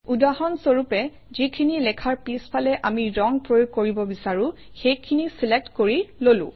উদাহৰণস্বৰূপে যিখিনি লেখাৰ পিছফালে আমি ৰং প্ৰয়োগ কৰিব বিচাৰোঁ সেইখিনি চিলেক্ট কৰি ললো